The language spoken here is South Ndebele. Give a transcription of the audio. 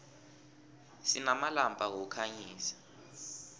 sinamalampa wokukhanyisa